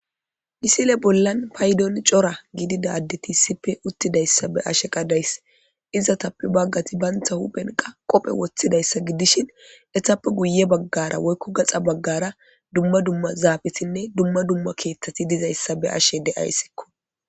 Issi bollani payidoni coora gididda adeti uttidayisa be'ashe ta dayisi. Izatape baggati banitta hupheni qobbe wothidayissa gidishini, ettape guye bagara woyiko gaxxa bagara duma kethati didayisa beyashe dayisi.